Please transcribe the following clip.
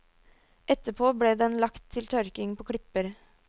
Etterpå ble den lagt til tørking på klipper.